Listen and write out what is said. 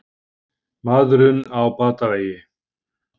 Maðurinn á batavegi